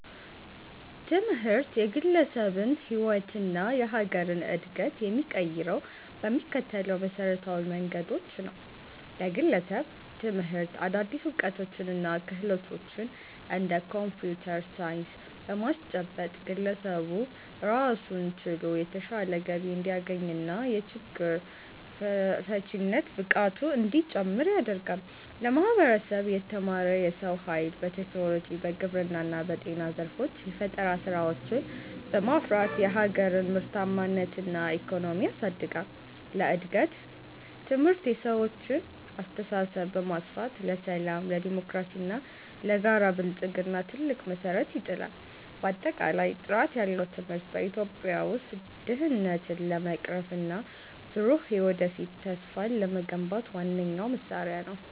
ትምህርት የግለሰብን ሕይወትና የሀገርን ዕድገት የሚቀይረው በሚከተሉት መሠረታዊ መንገዶች ነው፦ ለግለሰብ፦ ትምህርት አዳዲስ ዕውቀቶችንና ክህሎቶችን (እንደ ኮምፒውተር ሳይንስ) በማስጨበጥ፣ ግለሰቡ ራሱን ችሎ የተሻለ ገቢ እንዲያገኝና የችግር ፈቺነት ብቃቱ እንዲጨምር ያደርጋል። ለማህበረሰብ፦ የተማረ የሰው ኃይል በቴክኖሎጂ፣ በግብርና እና በጤና ዘርፎች የፈጠራ ስራዎችን በማፍራት የሀገርን ምርታማነትና ኢኮኖሚ ያሳድጋል። ለእድገት፦ ትምህርት የሰዎችን አስተሳሰብ በማስፋት፣ ለሰላም፣ ለዴሞክራሲና ለጋራ ብልጽግና ትልቅ መሠረት ይጥላል። ባጠቃላይ፣ ጥራት ያለው ትምህርት በኢትዮጵያ ውስጥ ድህነትን ለመቅረፍና ብሩህ የወደፊት ተስፋን ለመገንባት ዋነኛው መሳሪያ ነው።